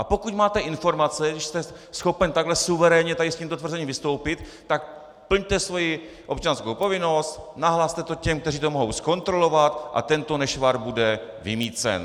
A pokud máte informace, když jste schopen takhle suverénně tady s tímto tvrzením vystoupit, tak plňte svoji občanskou povinnost, nahlaste to těm, kteří to mohou zkontrolovat, a tento nešvar bude vymýcen.